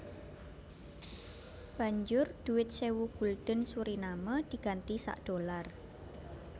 Banjur dhuwit sewu gulden Suriname diganti sak dollar